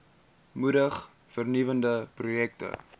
moedig vernuwende projekte